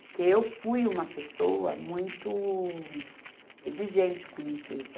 Porque eu fui uma pessoa muito exigente com limpeza.